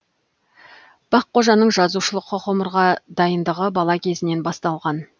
баққожаның жазушылық ғұмырға дайындығы бала кезінен басталған